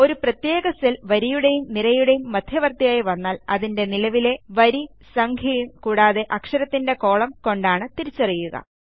ഒരു പ്രത്യേക സെൽ വരിയുടെയും നിരയുടെയും മദ്ധ്യവർത്തിയായി വന്നാൽ അതിന്റെ നിലവിലെ വരി സംഖ്യയും കൂടാതെ അക്ഷരത്തിൻറെ കോളം കൊണ്ടാണ് തിരിച്ചറിയുക